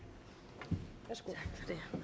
fru